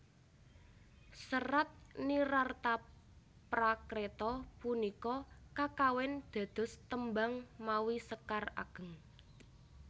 Serat Nirarthaprakreta punika kakawin dados tembang mawi sekar ageng